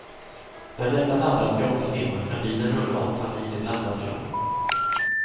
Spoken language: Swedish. När dessa laddats i åtta timmar kan bilen rulla åtta mil i blandad körning.